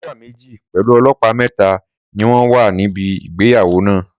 Sọ́jà méjì pẹ̀lú ọlọ́pàá mẹ́ta ni wọ́n wà níbi ìgbéyàwó náà.